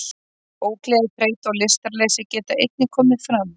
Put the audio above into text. Ógleði, þreyta og lystarleysi geta einnig komið fram.